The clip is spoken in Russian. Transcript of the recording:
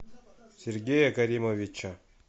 сергея каримовича